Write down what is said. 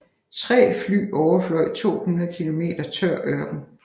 Tre fly overfløj 240 km tør ørken